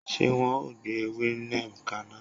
Ṣé wọn o gbé ewé neem kaná?